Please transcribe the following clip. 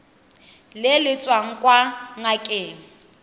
le le tswang kwa ngakeng